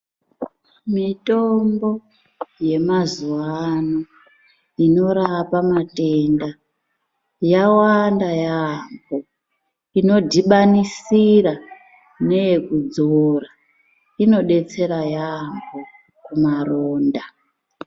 Mitombo ye mazuva ano inorapa matenda yawanda yambo ino dhibanisira neyeku dzora ino detsera yambo ku maronda.